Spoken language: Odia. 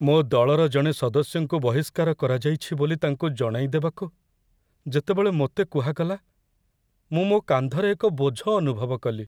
ମୋ ଦଳର ଜଣେ ସଦସ୍ୟଙ୍କୁ ବହିଷ୍କାର କରାଯାଇଛି ବୋଲି ତାଙ୍କୁ ଜଣାଇଦେବାକୁ ଯେତେବେଳେ ମୋତେ କୁହାଗଲା, ମୁଁ ମୋ କାନ୍ଧରେ ଏକ ବୋଝ ଅନୁଭବ କଲି।